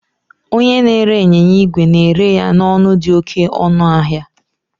Onye na-ere ịnyịnya igwe na-ere ya n'ọnụ dị oke ọnụ ahịa